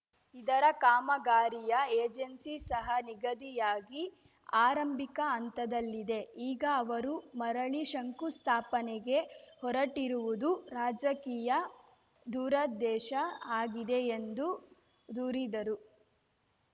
ಇದರ ಕಾಮಗಾರಿಯ ಏಜೆನ್ಸಿ ಸಹ ನಿಗದಿಯಾಗಿ ಆರಂಭಿಕ ಹಂತದಲ್ಲಿದೆ ಈಗ ಅವರು ಮರಳಿ ಶಂಕುಸ್ಥಾಪನೆಗೆ ಹೊರಟರಿವುದು ರಾಜಕೀಯ ದುರುದ್ದೇಶ ಆಗಿದೆ ಎಂದು ದೂರಿದರು